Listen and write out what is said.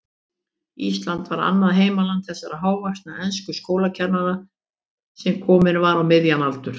Ísland var annað heimaland þessa hávaxna enska skólakennara, sem kominn var á miðjan aldur.